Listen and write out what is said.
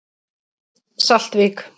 Saltvík